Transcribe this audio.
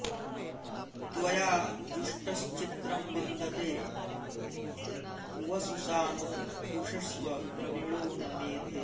त्वया॒ जुष्ट॑श्चि॒त्रं वि॑न्दते वसु॒ सा नो॑ जुषस्व॒ द्रवि॑णो न मेधे